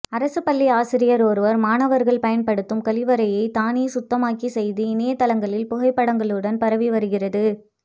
அரசு பள்ளி ஆசிரியர் ஒருவர் மாணவர்கள் பயன்படுத்தும் கழிவறையை தானே சுத்தமாக்கிய செய்தி இணையதளங்களில் புகைப்படங்களுடன் பரவி வருகிறது